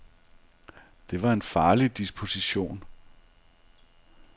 Det var en farlig disposition.